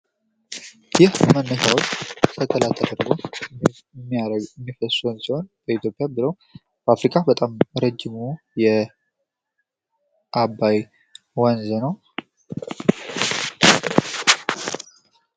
በኢትዮጵያ ብሎም በአፍሪካ ረጅሙ የአባይ ወንዝ ነው።